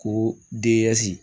Ko deyazi